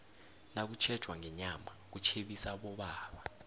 nakutjhetjwa ngenyama kutjhebisa abobaba